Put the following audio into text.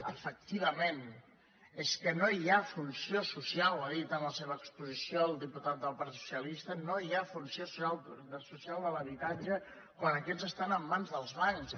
efectivament és que no hi ha funció social ho ha dit en la seva exposició el diputat del partit socialista no hi ha funció social de l’habitatge quan aquests estan en mans dels bancs